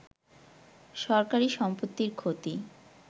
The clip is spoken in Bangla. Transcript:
সরকারি সম্পত্তির ক্ষতি